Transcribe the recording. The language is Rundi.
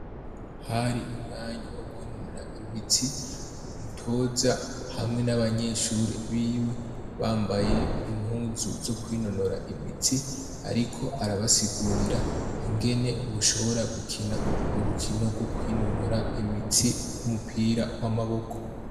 Hari umwanya wo kwinonora imitsi, umutoza hamwe 'n'abanyeshuri biwe bambaye impuzu zo kwinonora imitsi, ariko arabasiguriora ingene woshobora gukina urukinio rwo kwinonora imitsi rw'umupira w'amaboko.